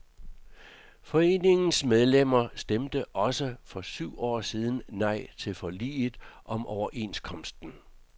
Foreningens medlemmer stemte også for syv år siden nej til forliget om overenskomsten.